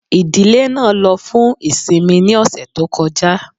Ìdílé náà ló fún ìsinmi ní ọ̀sẹ̀ tó kọjá